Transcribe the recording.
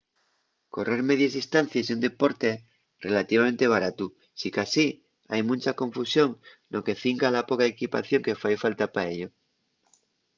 correr medies distancies ye un deporte relativamente baratu sicasí hai muncha confusión no que cinca la poca equipación que fai falta pa ello